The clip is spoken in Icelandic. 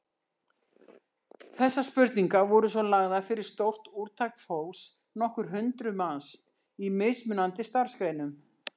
Þessar spurningar voru svo lagðar fyrir stórt úrtak fólks, nokkur hundruð manns, í mismunandi starfsgreinum.